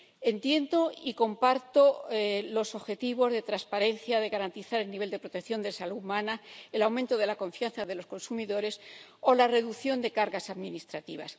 Entiendo y comparto los objetivos de transparencia, de garantizar el nivel de protección de la salud humana, el aumento de la confianza de los consumidores o la reducción de las cargas administrativas.